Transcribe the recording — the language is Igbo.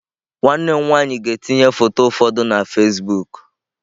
Nwanne m nwanyị ga-etinye foto ụfọdụ na Fasịbụk